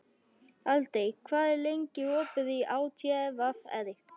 Aldey, hvað er lengi opið í ÁTVR?